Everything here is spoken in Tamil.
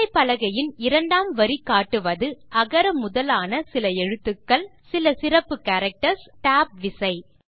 விசைப்பலகையின் இரண்டாம் வரி காட்டுவது அகர முதலான சில எழுத்துக்கள் சில சிறப்பு கேரக்டர்ஸ் மற்றும் Tab விசை